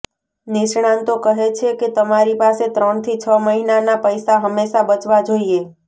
નિષ્ણાતો કહે છે કે તમારી પાસે ત્રણથી છ મહિનાના પૈસા હંમેશાં બચવા જોઈએ